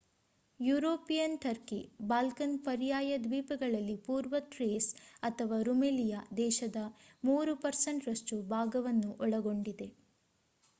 European Turkey Balkan ಪರ್ಯಾಯ ದ್ವೀಪದಲ್ಲಿ ಪೂರ್ವ ಥ್ರೇಸ್ ಅಥವಾ ರುಮೆಲಿಯಾ ದೇಶದ 3% ರಷ್ಟು ಭಾಗವನ್ನು ಒಳಗೊಂಡಿದೆ